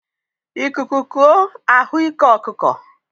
Ikuku kuo a hụ ike ọkụkọ.